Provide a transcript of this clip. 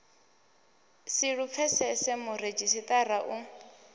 si lu pfesese muredzhisitarara u